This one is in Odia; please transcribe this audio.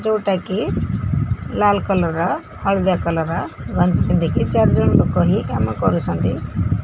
ଯୋଉଟାକି ଲାଲ୍ କଲର୍ ର ହଳଦିଆ କଲର୍ ର ଗଞ୍ଜୀ ପିନ୍ଧିକି ଚାରିଜଣ ଲୋକ ହିଁ କାମ କରୁଛନ୍ତି।